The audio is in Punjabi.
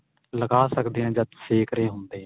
ਲਗਾ ਸਕਦੇ ਆ ਜਦ ਸੇਕ ਰਹੇ ਹੁੰਦੇ ਆ.